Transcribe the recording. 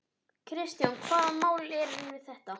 Kristján: Hvaða mál eru þetta?